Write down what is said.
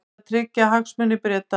Átti að tryggja hagsmuni Breta